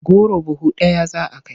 Goro buhu ɗaya za a kai.